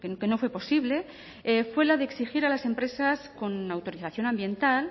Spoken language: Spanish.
que no fue posible fue la de exigir a las empresas con autorización ambiental